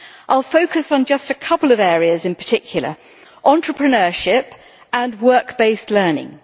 I will focus on just a couple of areas in particular entrepreneurship and work-based learning.